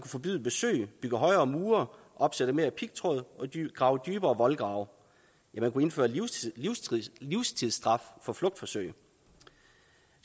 forbyde besøg bygge højere mure opsætte mere pigtråd og grave dybere voldgrave ja man kunne indføre livstidsstraf for flugtforsøg